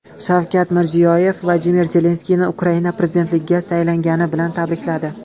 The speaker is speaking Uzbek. Shavkat Mirziyoyev Vladimir Zelenskiyni Ukraina prezidentligiga saylangani bilan tabrikladi.